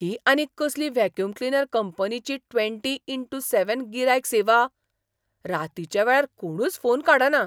ही आनीक कसली vacuum cleaner कंपनीची ट्वेंटी इनटू सॅवेन गिरायक सेवा! रातीच्या वेळार कोणूच फोन काडना.